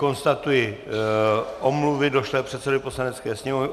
Konstatuji omluvy došlé předsedovi Poslanecké sněmovny.